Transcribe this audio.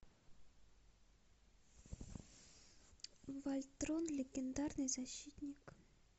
вольтрон легендарный защитник